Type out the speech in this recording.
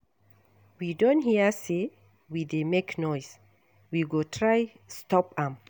We don hear say we dey make noise, we go try stop am.